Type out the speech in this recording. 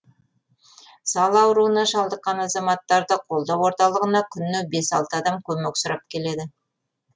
сал ауруына шалдыққан азаматтарды қолдау орталығына күніне бес алты адам көмек сұрап келеді